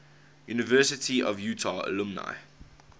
university of utah alumni